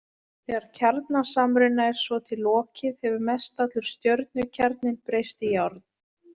Þegar kjarnasamruna er svo til lokið hefur mestallur stjörnukjarninn breyst í járn.